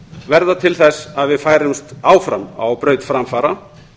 verða til þess að við færumst áfram á braut framfara